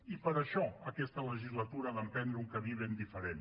i per això aquesta legislatura ha d’emprendre un camí ben diferent